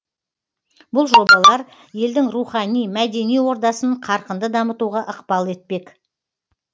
бұл жобалар елдің рухани мәдени ордасын қарқынды дамытуға ықпал етпек